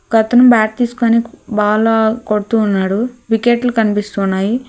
ఒక అతను బ్యాట్ తీసుకుని బాల్ కొడుతున్నాడు వికెట్లు కనిపిస్తున్నాయి.